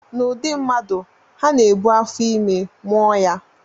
N'ụdị mmadụ, ha na-ebu afọ ime, mụọ ya